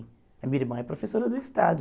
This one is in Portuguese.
A minha irmã é professora do Estado.